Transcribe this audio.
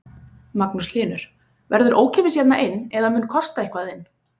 Magnús Hlynur: Verður ókeypis hérna inn eða mun kosta eitthvað inn?